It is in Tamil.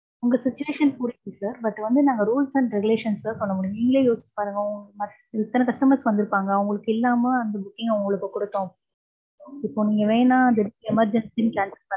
உங்க situation புரியுது sir, but வந்து நாங்க rules and regulations தான் பண்ண முடியும். நீங்களே யோசிச்சு பாருங்க, எத்தன customers வந்திருப்பாங்க, அவங்களுக்கு இல்லாம அந்த booking அ உங்களுக்கு கொடுத்தோம். இப்ப நீங்க வேணா அத emergency ன்னு cancel பண்றீங்க.